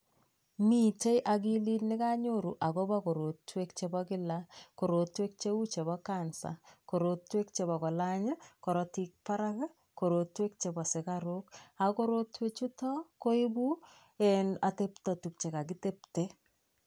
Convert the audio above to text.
Mitei akilit nekanyoru akobo korotwek chebo kila, korotwek cheu chebo cancer, korotwek cheu chebo kolany karotik barak, korotwek chebo sukaruk ako korotwek chuto koibu um atepto tukche kakitepte.